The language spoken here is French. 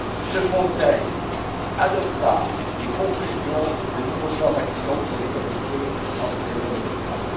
Ce Conseil adoptera des conclusions et le nouveau plan d'action pour l'égalité entre les hommes et les femmes.